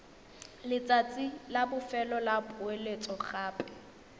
letsatsi la bofelo la poeletsogape